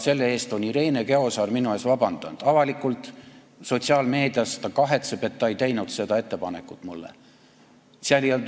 Selle eest on Irene Käosaar minult avalikult sotsiaalmeedias vabandust palunud, ta kahetseb, et ta ei teinud seda ettepanekut mulle.